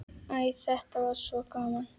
Æ, þetta var svo gaman.